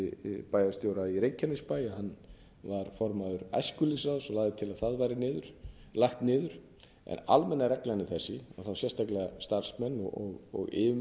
núverandi bæjarstjóra í reykjanesbæ að hann var formaður æskulýðsráðs og lagði til að það væri lagt niður almenna reglan er þessi að þá sérstaklega starfsmenn og yfirmenn